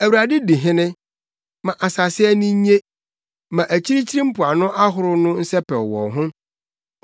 Awurade di hene, ma asase ani nnye; ma akyirikyiri mpoano ahorow no nsɛpɛw wɔn ho.